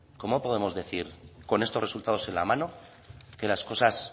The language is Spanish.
cómo podemos decir con estos resultados en la mano que las cosas